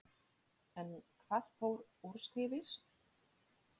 En hvað fór úrskeiðis?